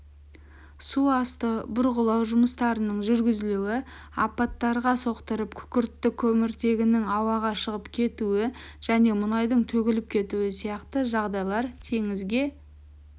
су асты бұрғылау жұмыстарының жүргізілуі апаттарға соқтырып күкіртті көміртегінің ауаға шығып кетуі және мұнайдың төгіліп кетуі сияқты жағдайлар теңізге